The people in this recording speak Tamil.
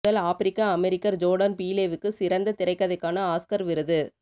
முதல் ஆப்பிரிக்க அமெரிக்கர் ஜோர்டன் பீலேவுக்கு சிறந்த திரைக்கதைக்கான ஆஸ்கர் விருது